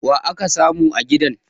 wa aka samu a gidan?